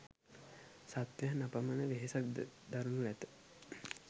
සත්වයන් අපමණ වෙහෙසක් ද දරනු ඇත.